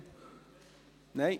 Etienne Klopfenstein?